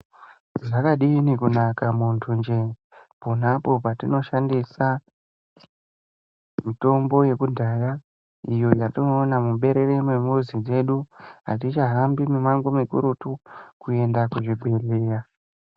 Zvakadini kunaka muntunje ponapo patinoshandisa mitombo yekudhaya iyo yatinoona muberere remuzi dzedu hatichahambi mumango mukurutu kuenda kuzvibhehleya .